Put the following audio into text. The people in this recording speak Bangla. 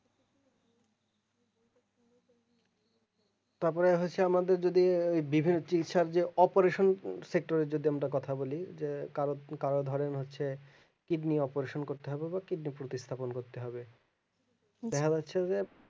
তারপরে হচ্ছে আমাদের যদি এই বিভিন্ন চিকিৎসার যে operation sector যদি আমরা কথা বলি যে কারো কারো ধরেন হচ্ছে kidney operation করতে হবে বা kidney কিন্তু স্থাপন করতে হবে দেখা যাচ্ছে যে